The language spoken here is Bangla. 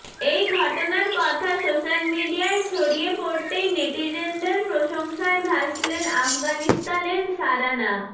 এই ঘটনার কথা সোশ্যাল মিডিয়ায় ছড়িয়ে পড়তেই নেটিজেনদের প্রশংসায় ভাসলেন আফিগানিস্তানের শারানা